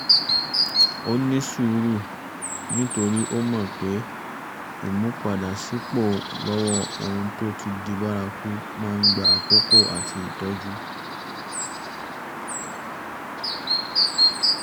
ó ní sùúrù nítorí ó mọ̀ pé ìmúpadàbọ̀sípò lọ́wọ́ ohun tó ti di bárakú máa ń gba àkókò àti ìtọ́jú